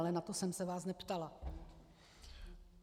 Ale na to jsem se vás neptala.